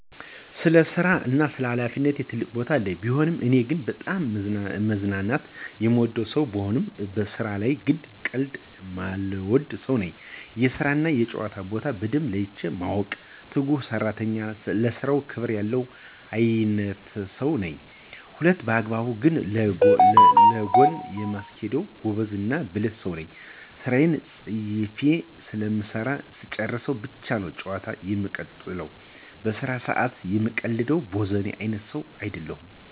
ለስራ እና ለሀላፊነት ትልቅ ቦታ አለኝ። ቢሆንም ግን እኔ በጣም መዝናናት የምወድ ሰው ብሆንም ስራ ላይ ግን ቀልድ የማልወድ ሰው ነኝ። የስራ እና የጨዋታ ቦታ በደንብ ለይቼ ማውቅ፤ ትጉህ ሰራተኝ፤ ለስራው ክብር ያለው አይነትሰው ነኝ። ሁለቱንም በአግባብ ግን ለጎን የማስኬድ ጎበዝ እና ብልህ ሰው ነኝ። ስራየን ፅፌ ስለምሰራ ስጨርስ ብቻ ነው ጨዋታን የምቀጥለው። በስራ ሰአት የምቀልድ ቦዘኔ አይነት ሰው አይደለሁም።